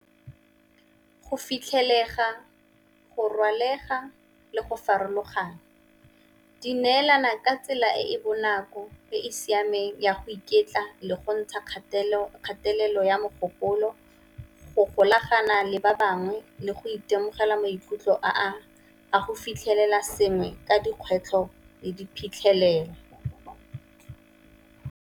Go fitlhelega, go rwalega le go farologana di neelana ka tsela e e bonako e e siameng ya go iketla le go ntsha kgatelelo ya mogopolo, go golagana le ba bangwe le go itemogela maikutlo a go fitlhelela sengwe ka dikgwetlho le diphitlhelelo.